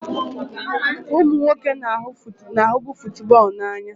Ụmụ nwoke na-ahụbu football n'anya.